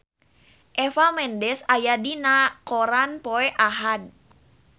Eva Mendes aya dina koran poe Ahad